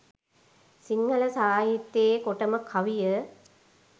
සිංහල සාහිත්‍යයේ කොටම කවිය